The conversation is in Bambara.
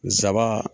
Nsaban